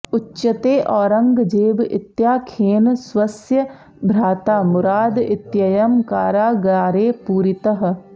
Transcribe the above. उच्यते औरङ्गजेब इत्याख्येन स्वस्य भ्राता मुराद इत्ययं कारागारे पूरितः